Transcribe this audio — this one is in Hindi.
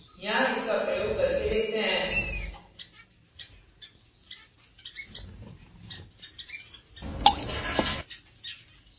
यहाँ इसका प्रयोग करके देखते हैं